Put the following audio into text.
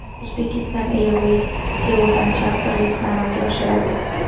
Uzbekistan Airways Seuldan charter reysni amalga oshiradi.